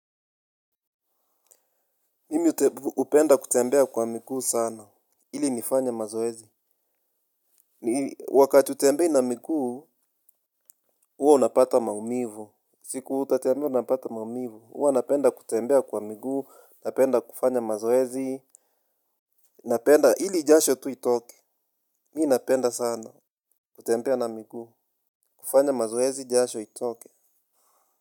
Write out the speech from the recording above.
Mimi hupenda kutembea kwa miguu sana. Ili nifanye mazoezi. Wakati hutembei na miguu, huwa unapata maumivu. Siku utatembea utapata maumivu. Huwa napenda kutembea kwa miguu, napenda kufanya mazoezi, napenda, ili jasho tu itoke. Mimi napenda sana. Kutembea na miguu kufanya mazoezi jasho itoke.